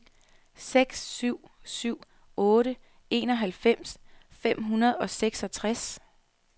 seks syv syv otte enoghalvfems fem hundrede og seksogtres